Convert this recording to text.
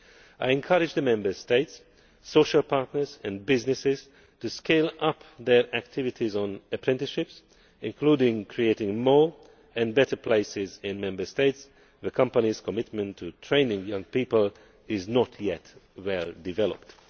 I encourage the Member States, social partners and businesses to scale up their activities on apprenticeships, including creating more and better places in Member States where companies' commitment to training young people is not yet well developed.